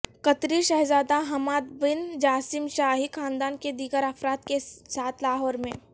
قطری شہزادہ Hamad bin Jassim شاہی خاندان کے دیگر افراد کے ساتھ لاہورمیں